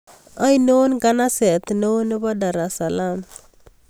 Ainon nganaseet ne oo ne po Dar es Salaam